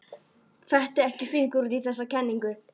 Fetti ekki fingur út í þessa kenningu.